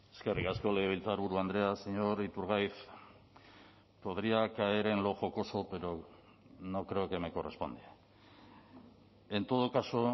eskerrik asko legebiltzarburu andrea señor iturgaiz podría caer en lo jocoso pero no creo que me corresponde en todo caso